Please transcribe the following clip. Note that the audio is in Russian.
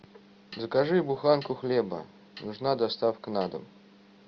закажи буханку хлеба нужна доставка на дом